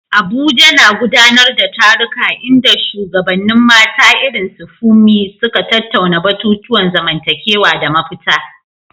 Abuja na gudanar da taruka inda shugabannin mata irin su Funmi suka tattauna batutuwan zamantakewa da mafita.